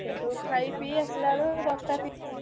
ସେଇଠୁ ଖାଇ ପିଇ ଆସିଲା ବେଳକୁ ଦଶଟା ~ତିରି ~ଶି।